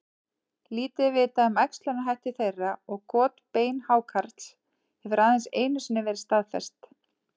Lítið er vitað um æxlunarhætti þeirra og got beinhákarls hefur aðeins einu sinni verið staðfest.